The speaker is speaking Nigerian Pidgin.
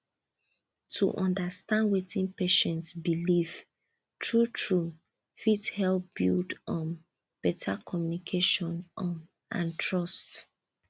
to understand wetin patient believe truetrue fit help build um better communication um and trust